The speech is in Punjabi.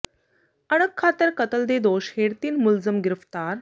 ਅਣਖ ਖ਼ਾਤਰ ਕਤਲ ਦੇ ਦੋਸ਼ ਹੇਠ ਤਿੰਨ ਮੁਲਜ਼ਮ ਗ੍ਰਿਫ਼ਤਾਰ